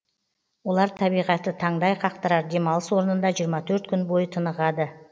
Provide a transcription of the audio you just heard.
олар табиғаты таңдай қақтырар демалыс орнында жиырма төрт күн бойы тынығады